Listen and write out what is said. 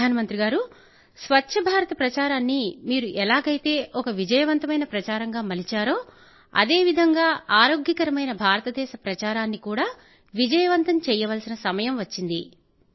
ప్రధానమంత్రి గారూ స్వఛ్ఛభారత ప్రచారాన్ని మీరు ఎలాగైతే ఒక విజయవంతమైన ప్రచారంగా మలిచారో అదే విధంగా ఆరోగ్యకరమైన భారతదేశ ప్రచారాన్ని కూడా విజయవంతం చెయ్యవలసిన సమయం వచ్చింది